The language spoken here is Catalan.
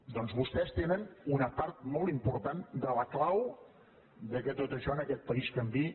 doncs vostès tenen una part molt important de la clau que tot això en aquest país canviï